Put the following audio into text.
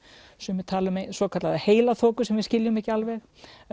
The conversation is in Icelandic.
sumir tala um sem við skiljum ekki alveg